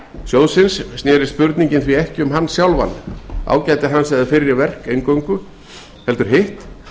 sjóðsins snerist spurningin því ekki um sjóðinn sjálfan ágæti hans eða fyrri verk heldur hitt